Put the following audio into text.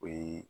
O ye